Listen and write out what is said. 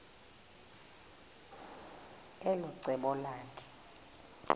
elo cebo lakhe